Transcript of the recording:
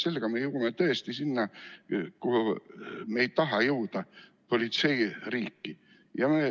Sedasi me jõuame tõesti sinna, kuhu me ei taha jõuda – politseiriiki.